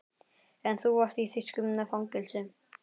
En þú varst í þýsku fangelsi